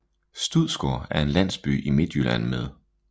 Studsgård er en landsby i Midtjylland med